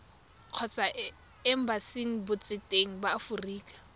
kgotsa embasing botseteng ba aforika